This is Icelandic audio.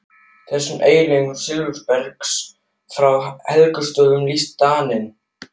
Þessum eiginleika silfurbergs frá Helgustöðum lýsti Daninn